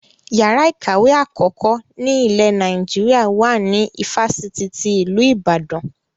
Yàrá ìkàwé àkọ́kọ́ ni ile Naijiria wà ní ifásitì ti ilu Ìbàdàn